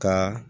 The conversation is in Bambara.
Ka